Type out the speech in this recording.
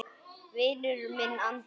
Vinur minn Andrés!